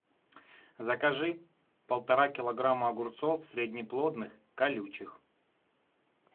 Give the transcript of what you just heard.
закажи полтора килограмма огурцов среднеплодных колючих